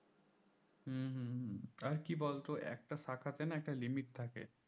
হম হম হম আর কি বলতো একটা শাখাতে একটা limit থাকে